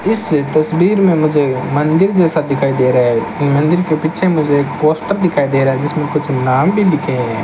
इससे तस्वीर में मुझे मंदिर जैसा दिखाई दे रहा है मंदिर के पीछे मुझे पोस्टर दिखाई दे रहा है जिसमें कुछ नाम भी लिखे हैं।